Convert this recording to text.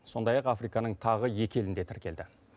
сондай ақ африканың тағы екі елінде тіркелді